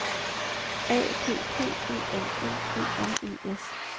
A P P E L L E R E S